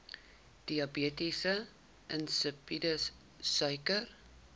diabetes insipidus suiker